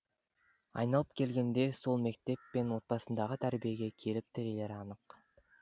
айналып келгенде сол мектеп пен отбасындағы тәрбиеге келіп тірелері анық